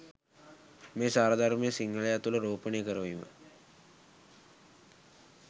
මේ සාරධර්මය සිංහලයා තුළ රෝපණය කරවීම